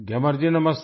ग्यामर जी नमस्ते